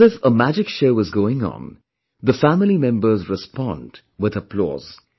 And as if a magic show is going on, the family members respond with applause